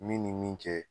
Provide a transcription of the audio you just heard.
Min ni min kɛ